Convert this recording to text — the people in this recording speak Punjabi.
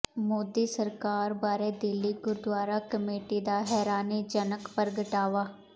ਮੋਦੀ ਸਰਕਾਰ ਬਾਰੇ ਦਿੱਲੀ ਗੁਰਦਵਾਰਾ ਕਮੇਟੀ ਦਾ ਹੈਰਾਨੀਜਨਕ ਪ੍ਰਗਟਾਵਾ